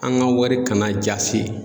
An ga wari kana jasi